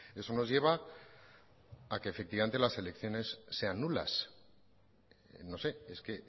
eso nos lleva a que efectivamente las elecciones sean nulas no sé es que